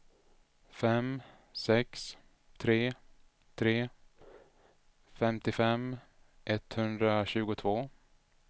fem sex tre tre femtiofem etthundratjugotvå